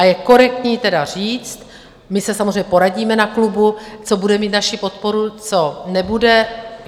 A je korektní tedy říct, my se samozřejmě poradíme na klubu, co bude mít naši podporu, co nebude.